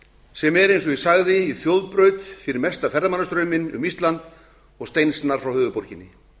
sem er eins og ég sagði í þjóðbraut fyrir mesta ferðamannastrauminn um ísland og steinsnar frá höfuðborginni